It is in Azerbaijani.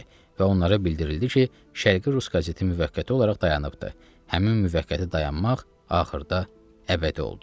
Və onlara bildirildi ki, Şərqi rus qazeti müvəqqəti olaraq dayanıbdır, həmin müvəqqəti dayanmaq axırda əbədi oldu.